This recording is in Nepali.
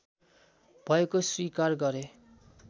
भएको स्वीकार गरे